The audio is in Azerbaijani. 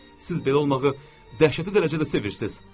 Siz belə olmağı dəhşətli dərəcədə sevirsiz.